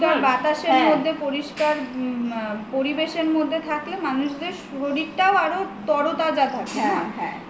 পরিষ্কার বাতাসের মধ্যে পরিষ্কার পরিবেশের মধ্যে থাকলে মানুষের শরীরটাও আরো তরতাজা থাকে না